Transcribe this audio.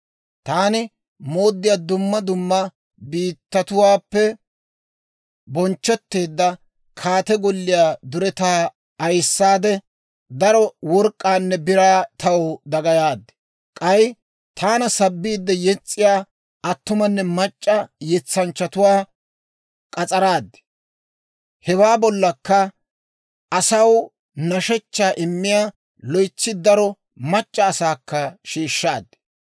Taani mooddiyaa dumma dumma biittatuwaappe bonchchetteedda kaate golliyaa duretaa ayissaade, daro work'k'aanne biraa taw dagayaad. K'ay, taana sabbiide yes's'iyaa attumanne mac'c'a yetsanchchatuwaa k'as'araad; hewaa bollakka, asaw nashshechchaa immiyaa loytsi daro mac'c'a asaakka shiishshaad.